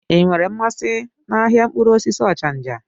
Ị nwere mmasị n'ahịa mkpụrụ osisi Ochanja?